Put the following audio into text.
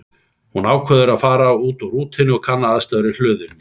Hún ákveður að fara út úr rútunni og kanna aðstæður í hlöðunni.